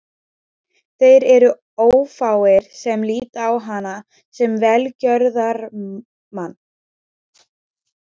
Þeir eru ófáir sem líta á hana sem velgjörðarmann.